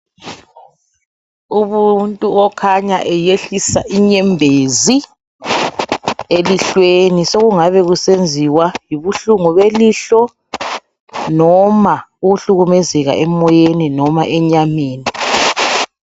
Umuntu okhanya eyehlisa inyembezi elihlweni sokungabe kusenziwa yibuhlungu belihlo noma ukuhlukumezeka emoyeni noma enyameni.